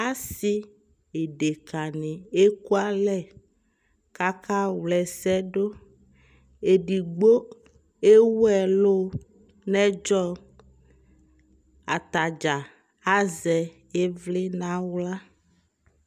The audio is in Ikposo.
asii ɛdɛka ni ɛkʋalɛ kʋaka wlɛ ɛsɛ dʋ, ɛdigbɔ ɛwʋ ɛlʋnʋɛdzɔ, atagya azɛ ivli nʋ ala